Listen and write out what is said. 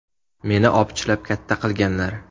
Meni opichlab katta qilganlar.